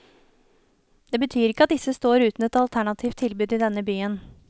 Det betyr ikke at disse står uten et alternativt tilbud i denne byen.